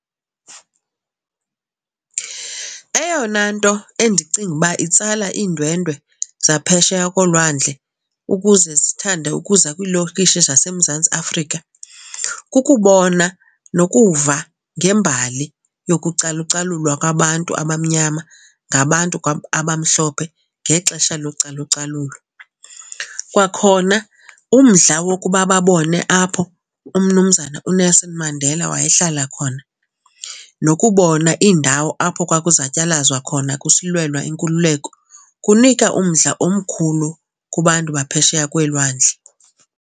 Eyona nto endicinga uba itsala iindwendwe zaphesheya kolwandle ukuze zithande ukuza kwiilokishi zaseMzantsi Afrika kukubona nokuva ngembali yokucalucalulwa kwabantu abamnyama ngabantu abamhlophe ngexesha localucalulo. Kwakhona umdla wokuba babone apho uMnumzana uNelson Mandela wayehlala khona. Nokubona iindawo apho kwakuzatyalazwa khona kusilwelwa inkululeko kunika umdla omkhulu kubantu baphesheya kweelwandle.